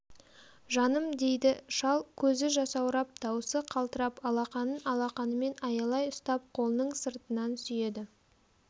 жаным дейді шал көзі жасаурап дауысы қалтырап алақанын алақанымен аялай ұстап қолының сыртынан сүйеді